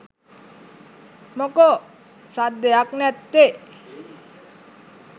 මොකෝ සද්දයක් නැත්තෙ .?